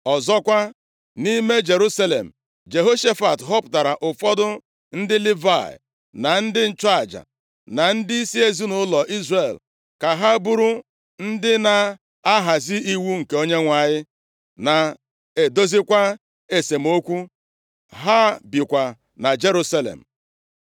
Ọzọkwa, nʼime Jerusalem, Jehoshafat họpụtara ụfọdụ ndị Livayị, na ndị nchụaja, na ndịisi ezinaụlọ Izrel ka ha bụrụ ndị na-ahazi iwu nke Onyenwe anyị na-edozikwa esemokwu. Ha bikwa na Jerusalem.